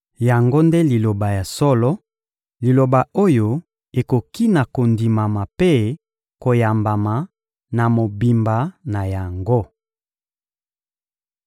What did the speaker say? Yango nde liloba ya solo, liloba oyo ekoki na kondimama mpe koyambama na mobimba na yango.